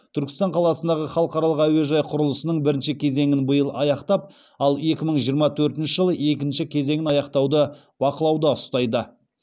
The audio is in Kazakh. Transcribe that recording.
түркістан қаласындағы халықаралық әуежай құрылысының бірінші кезеңін биыл аяқтап ал екі мың жиырма төртінші жылы екінші кезеңін аяқтауды бақылауда ұстайды